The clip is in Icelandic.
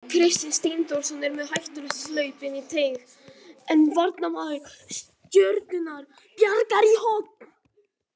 Kristinn Steindórsson er með hættulegt hlaup inn í teig en varnarmaður Stjörnunnar bjargar í horn.